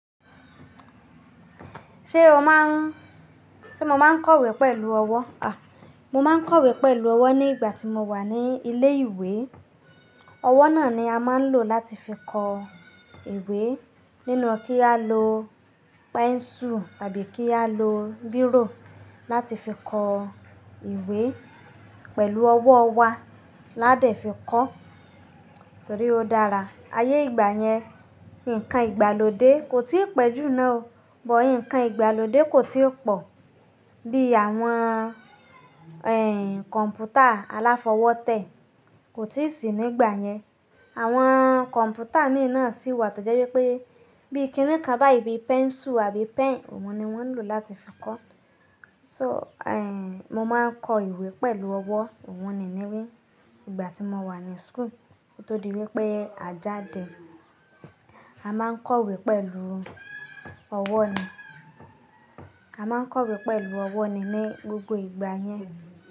Ṣé o má ń-- ṣe mo máa ń kọ ìwé pẹ̀lú ọwọ́? A! Mo máa ń kọ ìwé pẹ̀lú ọwọ́ ní ìgbà tí mo wà ní ilé ìwé. Ọwọ́ náà ni a máa ń lò láti fi kọ ìwé nínú kí á lo pẹ́ńsù tàbí kí á lo bírò láti fi kọ ìwé. Pẹ̀lú ọwọ́ wa laá dẹ̀ fi kọ, torí ó dára. Ayé ìgbà yẹn, ǹkan ìgbàlódé kò tí ì pẹ́ jù náà o, bọ̀ ǹkan ìgbàlódé kò tí ò pọ̀. Bí i àwọn, ẹ́ n kọ̀ǹpútà aláfọwótẹ́ kò tíì sì nígbà yẹn. Àwọn kọ̀ǹpútà míì náà sì wà tó jẹ́ wípé bíi kíni kan báyi bí pẹ́ńsù àbí pen, ohun ni wọ́n ń lò láti fi kọ́. So, ẹ́ n mo máa ń kọ ìwé pẹ̀lú ọwọ́. Ìwọ̀n ni ni wí. Ìgbà tí mo wà ní school, ó tó di wípé àjá dẹ̀, a máa ń kọ ìwé pẹ̀lú ọwọ́ ni. A máa ń kọ ìwé pẹ̀lú ọwọ́ ni ní gbogbo ìgbà yẹn.